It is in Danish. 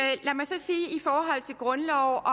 grundloven og